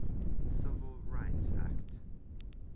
civil rights act